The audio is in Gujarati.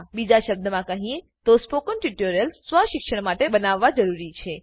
બીજા શબ્દોમાં કહીએ તો સ્પોકન ટ્યુટોરિયલ્સ સ્વ શિક્ષણ માટે બનાવવા જરૂરી છે